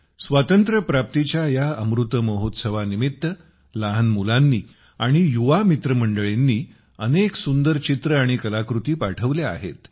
स्वातंत्र्यप्राप्तीच्या या अमृत महोत्सवानिमित्त लहान मुलांनी आणियुवा मित्रमंडळींनी अनेक सुंदर चित्रे आणि कलाकृती पाठवल्या आहेत